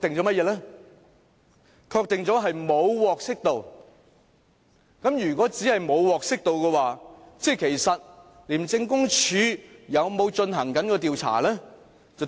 沒有獲悉。如果只是她沒有獲悉，那麼廉政公署其實有否進行調查呢？